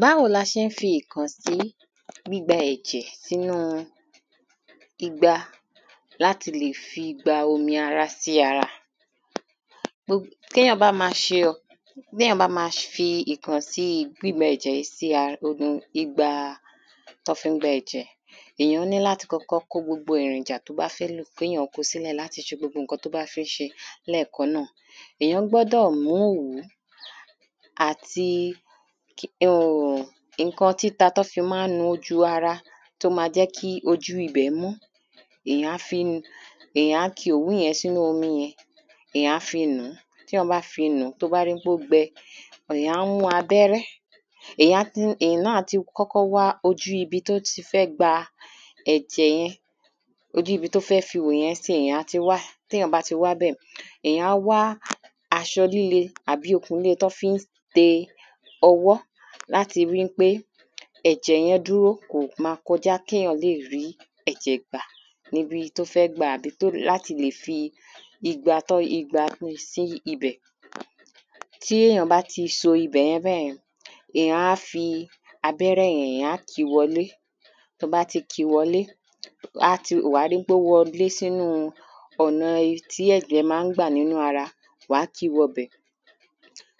Báwo la ṣe ń fi ìkànsí gbígba ẹ̀jẹ̀ sínú igba láti le fi gba omi ara sínú ara. Gbo kéyàn má bá ṣe téyàn má bá fi ìkànsí gbígba ẹ̀jẹ̀ yìí sí ara igba tán fí ń gba ẹ̀jẹ̀ èyàn ní láti kọ́kọ́ kó gbogbo èròjà tó bá fẹ́ lò kéyàn kó sílẹ̀ láti le ṣe gbogbo nǹkan tó bá fẹ́ ṣe lẹ́kàn náà. Èyàn gbọ́dọ̀ mú òwú àti um nǹkan títa tán fí má ń nu ojú ara tó má jẹ́ kí ojú ibè mọ́ èyàn á fi èyàn á ki òwú yẹn sínú omi yẹn èyàn á fi nùú. tí èyàn bá fi nùú tó bá rí pó gbẹ èyàn á mú abẹ́rẹ́ èyàn á ti èyàn náà á ti kọ́kọ́ wá ojú ibi tó ti fẹ́ gba ẹ̀jẹ̀ yẹn ojú ibi tó ti fẹ́ ihò yẹn sí èyàn náà á ti ẃ tó bá ti wábẹ̀ èyàn á wá aṣọ líle tàbí okùn líle tán fí ń de ọwọ́ láti rí wípé ẹ̀jẹ̀ yẹn dúró kò má kọjá kéyàn lè rí ẹ̀jẹ̀ yẹn gbà níbi tó fẹ́ gbà àbí láti lè fi igba tó igba gbé sí ibẹ̀. tí èyàn bá ti so ibẹ̀yẹn bẹ́yẹn èyàn á ki abẹ́rẹ́ yẹn èyàn á kìí wọlé tó bá ti kìí wọlé wàá ti wàá rí pó wọlé sínú ọ̀nà tí ẹ̀jẹ̀ má ń gbà wọlé sí ara wàá kìí wọbẹ̀.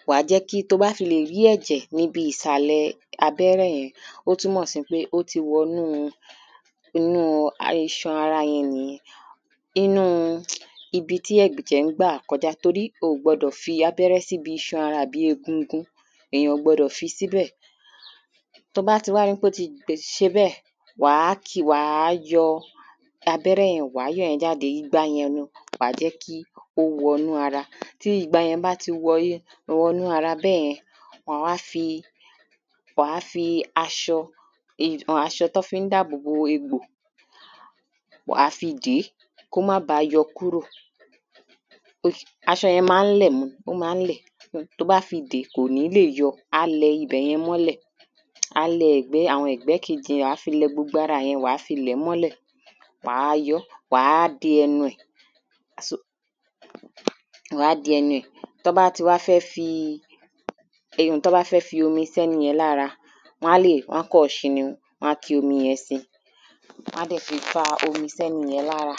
wàá jẹ́ kí tó bá fi lè rí ẹ̀jẹ̀ níbi ìsàlẹ̀ abẹ́rẹ́ yẹn ó túnmọ̀ sí pé ó ti wọnú inú iṣan ara yẹn nìyẹn inú ibi tí ẹ̀jẹ̀ ń gbà kọjá torí o gbọdọ̀ fi abẹ́rẹ́ síbi iṣan ara àbí egungun èyàn ò gbọdọ̀ fi abẹ́rẹ́ síbẹ̀. tó bá ti wá rí pó ti ṣe bẹ́ẹ̀ wàá kìí wàá yọ abẹ́rẹ́ yẹn wàá yọ̀ yẹn jáde igba yẹn wàá jẹ́ kó wọnú ara tí igba yẹn bá ti wọnú ara bẹ́yẹn wàá wá fi wàá fi aṣọ aṣọ tán fí ń dáàbò bo egbò wàá fi dèé kó má ba yọ kúrọ̀ aṣọ yẹn má ń lẹ̀ mọ́ ó má ń lẹ̀ tó bá fi dèé kò ní lè yọ á lẹ ibẹ̀yẹn mọ́lẹ̀ a lẹ àwọn ẹ̀gbẹ́ kejì yẹn wàá fi lẹ gbogbo ara yẹn wàá fi lẹ̀ẹ́ mọ́lẹ̀ wàá yọ́ wàá de ẹnu ẹ̀. Wàá de ẹnu ẹ̀ tán bá ti wá fẹ́ fi um tán bá ti fẹ́ fi omi sẹ́niyẹn lára wọ́n lè wọ́n á kàn ṣí ni wọ́n á fomi yẹn sí wọ́n á dẹ̀ fi fa omi sẹ́niyẹn lára.